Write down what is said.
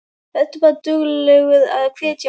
Vertu bara duglegur að hvetja mig.